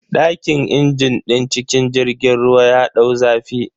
Dakin injin din cikin jirgin ruwan ya dau zafi.